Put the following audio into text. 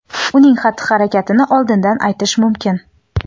uning xatti-harakatini oldindan aytish mumkin.